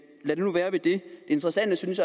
lad det nu være det interessante synes